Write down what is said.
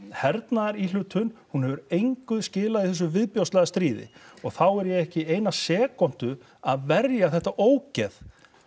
hernaðaríhlutun hún hefur engu skilað í þessu viðbjóðslega stríði og þá er ég ekki eina sekúndu að verja þetta ógeð